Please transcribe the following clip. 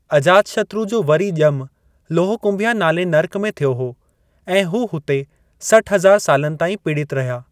अजातशत्रु जो वरी ज॒मु लोहकुंभिया नाले नर्क में थियो हो ऐं हू हुते सठ हज़ारु सालनि ताईं पीड़ितु रहिया।